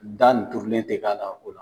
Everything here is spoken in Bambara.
Da nin turulen te k'a la o la.